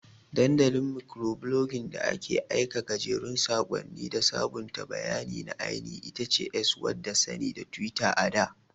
Dandalin Mikroblogging da ake aika gajerun sakonni da sabunta bayanai na ainihi itace X wadda sani da Twitter ada.